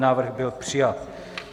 Návrh byl přijat.